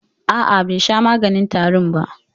A'a, bai sha maganin tarin ba.